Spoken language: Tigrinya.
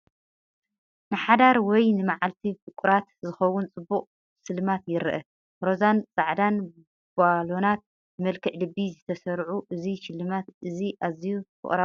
ንሓዳር ወይ ንመዓልቲ ፍቑራት ዝኸውን ጽቡቕ ስልማት ይርአ። ሮዛን ጻዕዳን ባሎናት ብመልክዕ ልቢ ዝተሰርዑ እዚ ሽልማት እዚ ኣዝዩ ፍቕራዊ ድዩ?